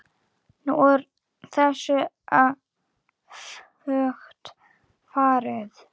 Nú er þessu öfugt farið.